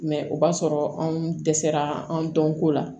Mɛ o b'a sɔrɔ anw dɛsɛra anw dɔnko la